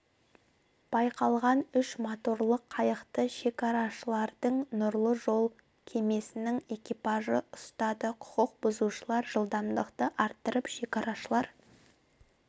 байқалған үш моторлы қайықты шекарашылардың нұрлы жол кемесінің экипажы ұстады құқық бұзушылар жылдамдықты арттырып шекарашылар